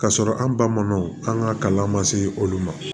K'a sɔrɔ an ba ma an ka kalan ma se olu ma